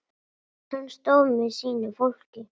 Hann stóð með sínu fólki.